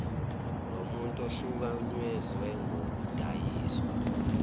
lomuntu ohlukunyezwe ngokudayiswa